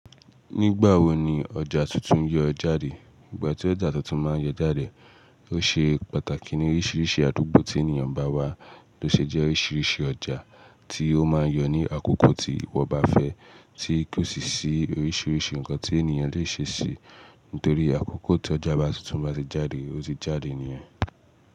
Nígbà wo ni ọjà tuntun yọ jáde? Ìgbà tí ọjà tuntun máa yọ jáde, ó ṣe pàtàkì ní oríṣiríṣi àdúgbò tí ènìyàn bá wà. Lo ṣe jẹ́ oríṣiríṣi ọjà tí ó máa yọ ní àkókò tí wọ́n bá fẹ́, tí kí ó sì ṣí oríṣiríṣi nǹkan tí ènìyàn lè ṣe sí i. Nítorí àkókò tí ọjà tuntun bá ṣe jáde, ó ti jáde nìyẹn.